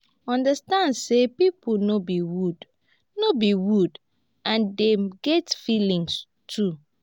understand sey pipo no be wood no be wood and dem get feelings too